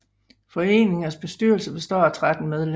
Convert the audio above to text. Foreningens bestyrelse består af 13 medlemmer